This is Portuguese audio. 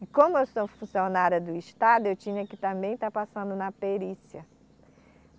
E como eu sou funcionária do estado, eu tinha que também estar passando na perícia.